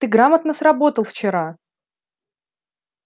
ты грамотно сработал вчера